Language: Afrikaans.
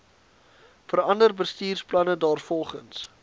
verander bestuursplanne daarvolgens